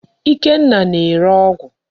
Ikenna na-ere ọgụ.